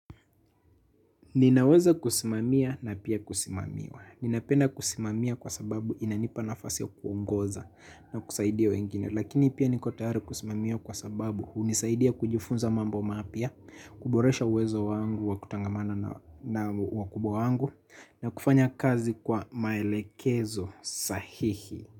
Ninaweza kusimamia na pia kusimamiwa. Ninapenda kusimamia kwa sababu inanipa nafasi ya kuongoza na kusaidia wengine. Lakini pia niko tayari kusimamia kwa sababu hunisaidia kujifunza mambo mapya, kuboresha uwezo wangu wa kutangamana na wakubwa wangu na kufanya kazi kwa maelekezo sahihi.